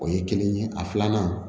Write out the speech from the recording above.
O ye kelen ye a filanan